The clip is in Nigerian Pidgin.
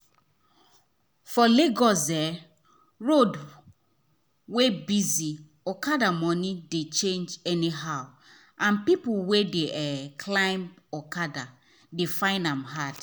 for lagos um road wey busy okada money dey change anyhow and people wey dey um climb um okada dey find am hard.